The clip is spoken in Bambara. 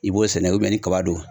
I b'o sɛnɛ ni kaba don